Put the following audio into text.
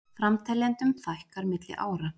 Framteljendum fækkar milli ára